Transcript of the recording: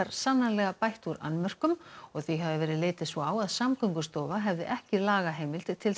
sannanlega bætt úr annmörkum og því hafi verið litið svo á að Samgöngustofa hefði ekki lagaheimild til